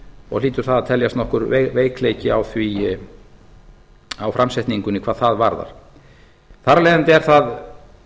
og hlýtur það að teljast nokkur veikleiki á framsetningunni hvað það varðar þar af leiðandi er það